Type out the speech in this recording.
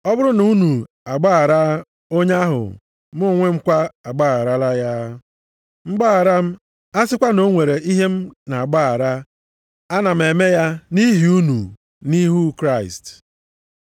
Ọ bụrụ na unu agbaghara onye ahụ mụ onwe m kwa agbagharala ya. Mgbaghara m, a sịkwa na o nwere ihe m na-agbaghara, ana m eme ya nʼihi unu nʼihu Kraịst.